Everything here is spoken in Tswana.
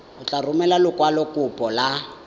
o tla romela lekwalokopo la